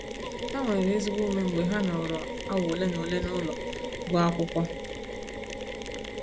Ha nwere ezigbo ume mgbe ha nọrọ awa ole na ole n'ụlọ gụọ akwụkwọ.